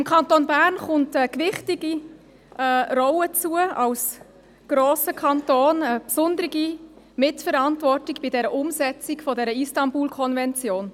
Dem Kanton Bern kommt als grosser Kanton eine gewichtige Rolle zu, eine besondere Mitverantwortung bei der Umsetzung der IstanbulKonvention.